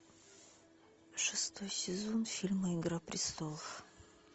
шестой сезон фильма игра престолов